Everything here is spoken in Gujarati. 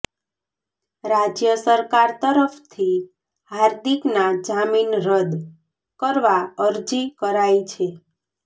રાજ્ય સરકાર તરફથી હાર્દિકના જામીન રદ્દ કરવા અરજી કરાઇ છે